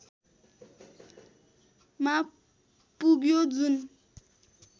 मा पुग्यो जुन